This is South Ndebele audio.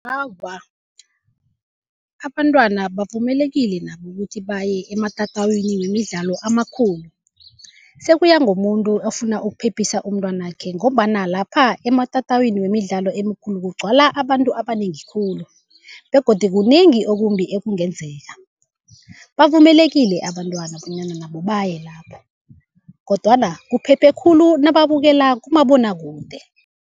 Awa, abantwana bavumelekile nabo ukuthi baye ematatawini wemidlalo amakhulu. Sekuya ngomuntu ofuna ukuphephisa umntwanakhe, ngombana lapha ematatawini wemidlalo emikhulu kugcwala abantu abanengi khulu begodu kunengi okumbi ekungenzeka. Bavumelekile abantwana bonyana nabo baye lapho, kodwana kuphephe khulu nababukela kumabonwakude.